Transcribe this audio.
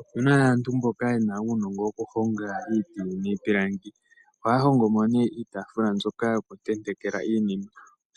Opuna aantu mboka yena uunongo wokuhonga iipilangi ohaya gongo nee iitafula mbyoka yokuntentekela iinima